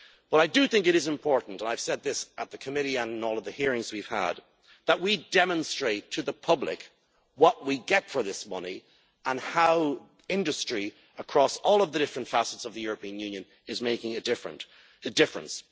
I think it is important, and I have said this at the committee on all of the hearings we have had, that we demonstrate to the public what we get for this money and how industry across all of the different facets of the European Union is making a difference.